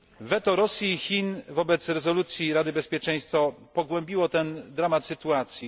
Weto Rosji i Chin wobec rezolucji Rady Bezpieczeństwa ONZ pogłębiło dramat tej sytuacji.